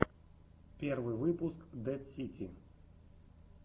первый выпуск дэд сити